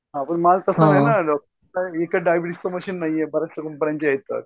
हां पण माल हे काय डायबेटिजचं मशीन आहे येतात.